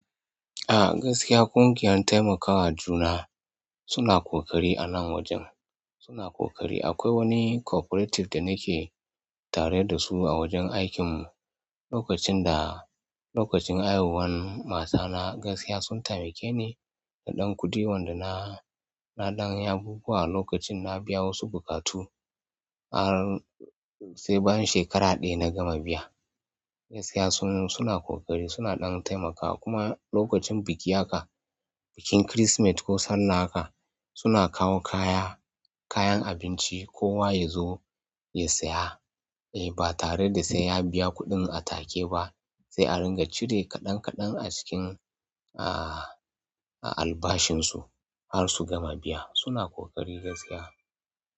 Ah, gaskiya ƙungiyar taimakawa juna suna ƙoƙari a nan wajen suna ƙoƙari. Akwai wani cooperative da nake tare da su a wajen aikin mu. Lokacin da, lokacin haihuwan matana gaskiya sun taimake ni da ɗan kuɗi wanda na, na ɗan yi abubuwa a lokacin na biya wasu bukatu, har sai bayan shekara ɗaya na gama biya. Gaskiya sun, suna ƙoƙari suna ɗan taimakawa kuma lokacin biki haka, bikin kirismeti ko salla haka suna kawo kaya, kayan abinci kowa ya zo ya saya. Ba tare da aai and biya kuɗin a take ba sai a ringa cire kaɗan kaɗan a cikin ah, albashin su har su gama biya. Suna ƙoƙari gaskiya.